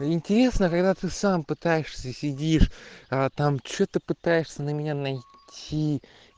интересно когда ты сам пытаешься сидишь а там что-то пытаешься на меня найти